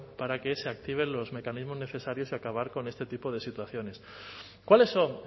para que se activen los mecanismos necesarios y acabar con este tipo de situaciones cuáles son